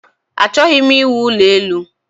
Achọghị m iwu ụlọ elu